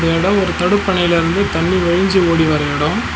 இந்த எடம் ஒரு தடுப்பணைலிருந்து தண்ணி வழிஞ்சு ஓடிவர எடோ.